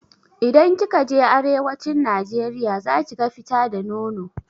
Idan kika je arewacin najeriya zakiga fita da nono.